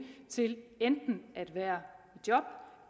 til enten at være i job